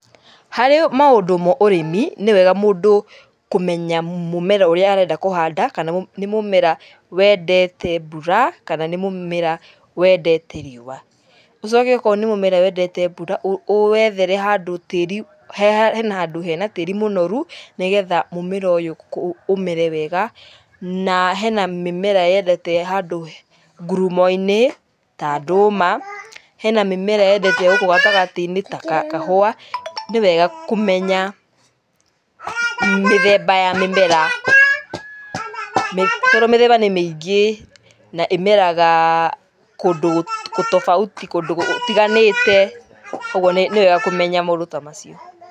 Harĩ maũndũ maũrĩmi nĩ wega mũndũ kũmenya mũmera ũrĩa arenda kũhanda kana nĩ mũmera wendete mbura kana nĩ mũmera wendete riũa. Ũcoke akorwo nĩ mũmera wendete mbura ũwethere handũ tĩri, hena handũ hena tĩri mũnoru nĩ getha mũmera ũyũ ũmere wega. Na hena mĩmera yendete handũ ngurumo-inĩ ta ndũma. Hena mĩmera yendete gũkũ gatagatĩ-inĩ ta kahũa. Nĩ wega kũmenya mĩthemba ya mĩmera. Tondũ mĩmera nĩ mĩingĩ na ĩmeraga kũndũ tofauti, kũndũ gũtiganĩte, ũguo nĩ wega kũmenya maũndũ ta macio.